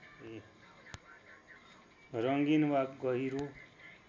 रङ्गीन वा गहिरो